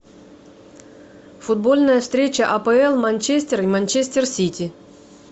футбольная встреча апл манчестер и манчестер сити